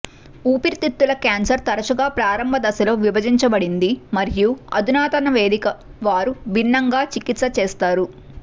ఊపిరితిత్తుల క్యాన్సర్ తరచుగా ప్రారంభ దశలో విభజించబడింది మరియు అధునాతన వేదిక వారు భిన్నంగా చికిత్స చేస్తారు